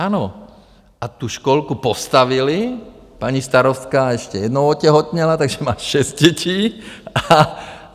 Ano, a tu školku postavili, paní starostka ještě jednou otěhotněla, takže má šest dětí.